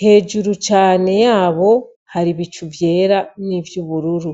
hejuru cane yabo hari ibicu vyera n'ivy’ubururu.